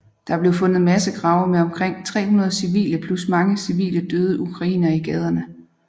Der blev fundet massegrave med omkring 300 civile plus mange civile døde ukrainere i gaderne